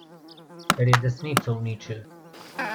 Ker je desnico uničil.